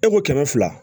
E ko kɛmɛ fila